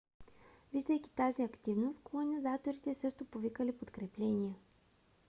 виждайки тази активност колонизаторите също повикали подкрепление